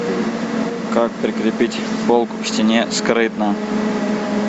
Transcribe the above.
как прикрепить полку к стене скрытно